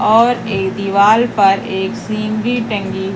और ए दीवाल पर एक सीनरी टंगी--